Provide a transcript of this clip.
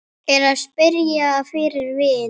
Er að spyrja fyrir vin.